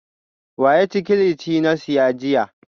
Wa ya ci kilichi na siya jiya?